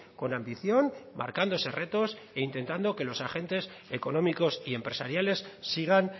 con ambición marcándose retos e intentado que los agentes económicos y empresariales sigan